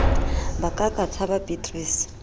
ba ka a ka tshababeatrice